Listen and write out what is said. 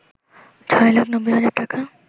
৬ লাখ ৯০ হাজার টাকা